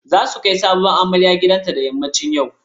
Za su kai sabuwar amarya gidanta da yammacin yau.